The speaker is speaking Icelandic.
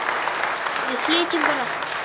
Við flytjum bara!